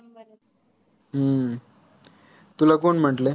हम्म तुला कोण म्हंटले?